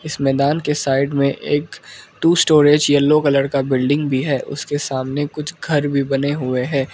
इस मैदान के साइड में एक टू स्टोरेज येलो कलर का बिल्डिंग भी है उसके सामने कुछ घर भी बने हुए हैं।